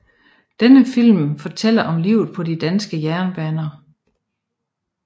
Denne film fortæller om livet på de danske jernbaner